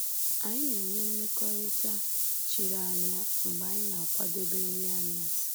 Anyị na-enwe ‘mmekọrịta chiri anya’ mgbe anyị na-akwadebe nri anyasị